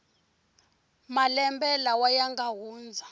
malembe lawa ya nga hundza